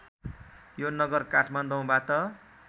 यो नगर काठमाडौँबाट